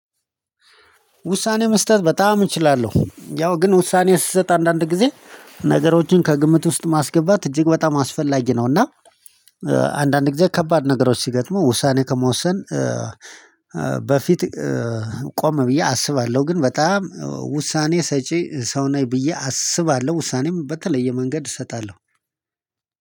ውሳኔ መስጠት በጣም እችላለሁ ያው ግን ውሳኔው ስሰጥ አንዳንድ ጊዜ ነገሮችን ከግምት ውስጥ ማስገባት እጅግ በጣም አስፈላጊ ነው። እና አንዳንድ ጊዜ ከባድ ነገሮች ሲገጥሙ ውሳኔ ከመወሰን በፊት ቆም ብዬ አስባለሁ። ግን በጣም ውሳኔ ሰጪ ሰው ነኝ ብዬ አስባለሁ። ውሳኔም በተለየ መንገድ እሰጣለሁ።